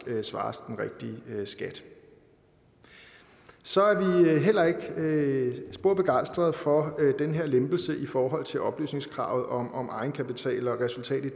svares den rigtige skat så er vi heller ikke spor begejstrede for den her lempelse i forhold til oplysningskravet om egenkapital og resultat i